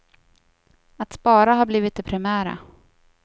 Att spara har blivit det primära.